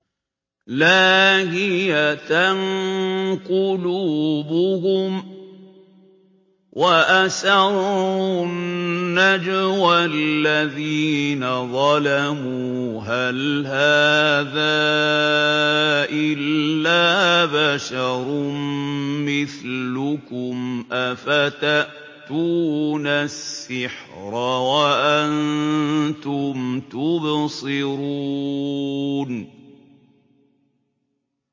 لَاهِيَةً قُلُوبُهُمْ ۗ وَأَسَرُّوا النَّجْوَى الَّذِينَ ظَلَمُوا هَلْ هَٰذَا إِلَّا بَشَرٌ مِّثْلُكُمْ ۖ أَفَتَأْتُونَ السِّحْرَ وَأَنتُمْ تُبْصِرُونَ